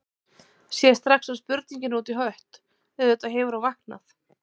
Sér strax að spurningin er út í hött, auðvitað hefur hún vaknað.